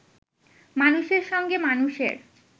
মানুষের সঙ্গে মানুষের